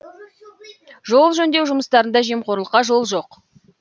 жол жөндеу жұмыстарында жемқорлыққа жол жоқ